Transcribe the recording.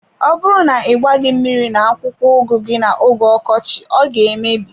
Ọ bụrụ na ị gbaghi mmiri na akwụkwọ ugu gi na oge ọkọchị ọ ga emebi.